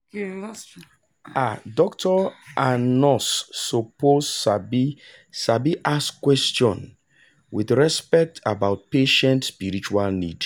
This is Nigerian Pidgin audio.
ah doctor and nurse suppose sabi sabi ask question wit respect about patient spiritual need